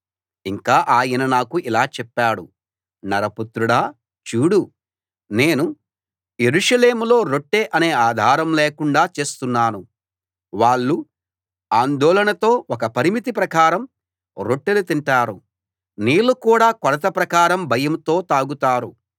ఇంకా ఆయన నాకు ఇలా చెప్పాడు నరపుత్రుడా చూడు నేను యెరూషలేములో రొట్టె అనే ఆధారం లేకుండా చేస్తున్నాను వాళ్ళు ఆందోళనతో ఒక పరిమితి ప్రకారం రొట్టెలు తింటారు నీళ్ళు కూడా కొలత ప్రకారం భయంతో తాగుతారు